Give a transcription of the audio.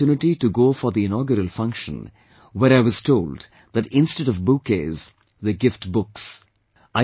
I had the opportunity to go for the inaugural function, where I was told that instead of bouquets, they gift books